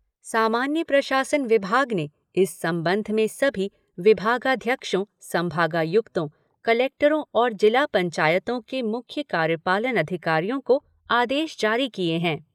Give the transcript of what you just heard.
सामान्य प्रशासन विभाग ने इस संबंध में सभी विभागाध्यक्षों, संभागायुक्तों, कलेक्टरों और जिला पंचायतों के मुख्य कार्यपालन अधिकारियों को आदेश जारी किये हैं।